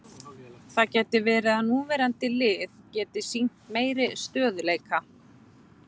Það gæti verið að núverandi lið geti sýnt meiri stöðugleika.